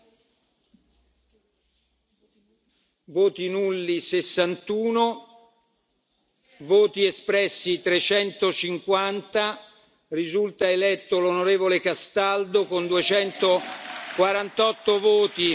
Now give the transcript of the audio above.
Ecco i risultati voti nulli 61 voti espressi 350 Risulta eletto l'onorevole Castaldo con 248 voti.